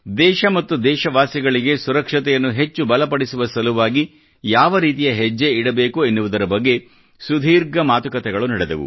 ದೇಶ ಮತ್ತು ದೇಶವಾಸಿಗಳಿಗೆ ಸುರಕ್ಷತೆಯನ್ನು ಹೆಚ್ಚು ಬಲ ಪಡಿಸುವ ಸಲುವಾಗಿ ಯಾವ ರೀತಿಯ ಹೆಜ್ಜೆ ಇಡಬೇಕು ಎನ್ನುವುದರ ಬಗ್ಗೆ ದೀರ್ಘವಾಗಿ ಮಾತುಕತೆಗಳು ನಡೆದವು